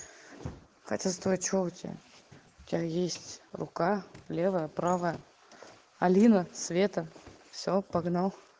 хотя стой что у тебя у тебя есть рука левая и правая алина света все погнал